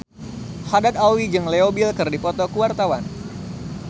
Haddad Alwi jeung Leo Bill keur dipoto ku wartawan